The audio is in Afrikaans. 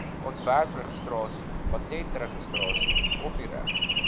ontwerpregistrasie patentregistrasie kopiereg